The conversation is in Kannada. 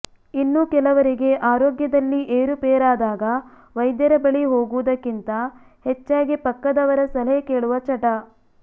ಇನ್ನು ಕೆಲವರಿಗೆ ಆರೋಗ್ಯದಲ್ಲಿ ಏರುಪೇರಾದಾಗ ವೈದ್ಯರ ಬಳಿ ಹೋಗುವುದಕ್ಕಿಂತ ಹೆಚ್ಚಾಗಿ ಪಕ್ಕದವರ ಸಲಹೆ ಕೇಳುವ ಚಟ